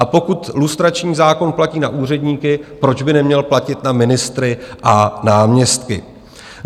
A pokud lustrační zákon platí na úředníky, proč by neměl platit na ministry a náměstky?